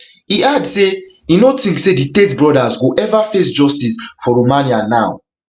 e add say e no think say di tate brothers go ever face justice for romania now